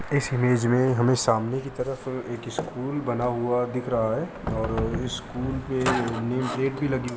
इस इमेज में हमें सामने की तरफ एक स्कूल बना हुआ दिख रहा है और स्कूल पे नेमप्लेट भी लगी हुई --